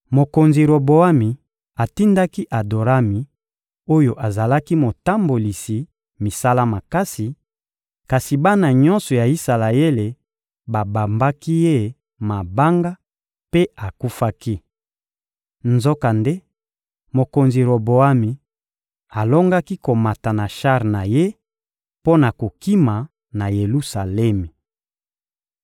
Mokonzi Roboami atindaki Adorami oyo azalaki motambolisi misala makasi, kasi bana nyonso ya Isalaele babambaki ye mabanga mpe akufaki. Nzokande, mokonzi Roboami alongaki komata na shar na ye mpo na kokima na Yelusalemi.